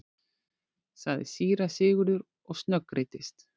sagði síra Sigurður og snöggreiddist.